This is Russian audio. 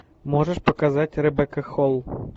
можешь показать ребекка холл